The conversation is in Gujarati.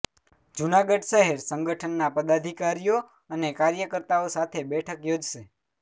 જૂનાગઢ શહેર સંગઠનના પદાધિકારીઓ અને કાર્યકર્તાઓ સાથે બેઠક યોજશે